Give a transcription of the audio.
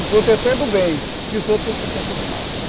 Um protetor do bem e os outros tem um protetor do mal.